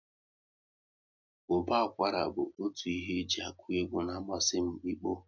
Ụba akwara bụ otu ihe e ji akụ egwu na amasị m ikpo